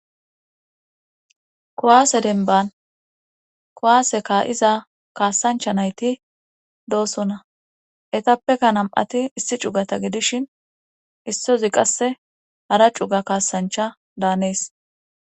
kuwaase denban kowaase ka7iza kaasancha nayti doosona etappeka nam7ati issi cugata gidishin issozi qasse hara cuga kaasancha daanees